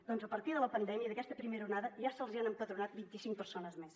doncs a partir de la pandèmia d’aquesta primera onada ja se’ls han empadronat vint i cinc persones més